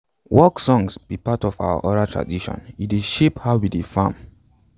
work songs be part of our oral tradition e dey shape how we dey farm